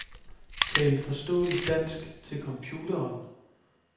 Tal forståeligt dansk til computeren.